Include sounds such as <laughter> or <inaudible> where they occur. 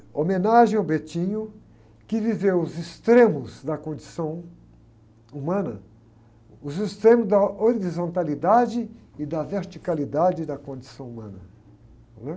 Homenagem ao <unintelligible> que viveu os extremos da condição humana, os extremos da horizontalidade e da verticalidade da condição humana, né?